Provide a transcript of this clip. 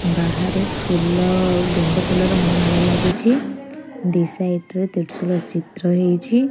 ବାହାରେ ଫୁଲ ଓ ଗେଣ୍ଡୂ ଫୁଲର ମାଳ ଲାଗିଛି ଦୁଇ ସାଇଡ ରେ ଦେଢ଼ସୁରର ଚିତ୍ର ହେଇଛି।